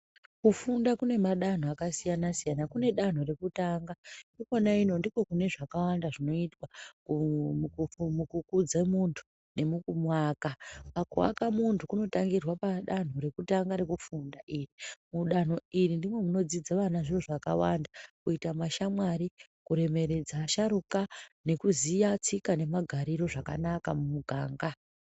Kufunda kune madanho akasiyana siyana. Kune danto rekutanga. Ikona ino ndiko kune zvakawanda zvinoitwa mukukudze muntu nemukumuaka. Pakuaka muntu kunotangirwa padanto rekutanga rekufunda iri. Mudanto iri ndimo munodzidza vana zviro zvakawanda. Kuita mashamwari, kuremeredza asharuka nekuziya tsika nemagariro zvakanaka mumuganga.